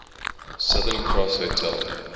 southern cross hotel